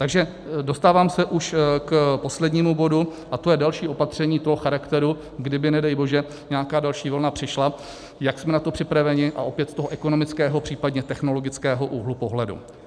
Takže dostávám se už k poslednímu bodu, a to je další opatření toho charakteru, kdyby nedej bože nějaká další vlna přišla, jak jsme na to připraveni, a opět z toho ekonomického, případně technologického úhlu pohledu.